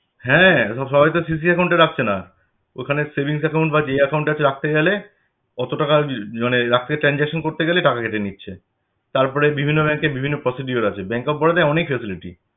হ্যাঁ এখন সবাই তো CC account এ রাখছে না । ওখানে savings account বা যেই account আছে রাখতে গেলে ওতো টাকা মানে রাখতে transaction করতে গেলে টাকা কেটে নিচ্ছে। তারপরে বিভিন্ন bank এ বিভিন্ন procedure আছে Bank of Baroda য় অনেক facility